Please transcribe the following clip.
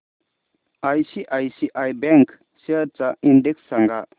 ICICI bank shares चा index सांगा